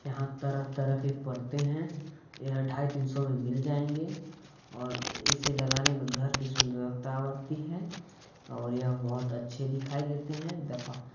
यहाँ तरह-तरह के पर्दे है एहा ढाई तीन सौ में मिल जायेंगे और इसे लगाने में घर की सुंदरता बढ़ती है और यह बहुत अच्छे दिखाई देते है।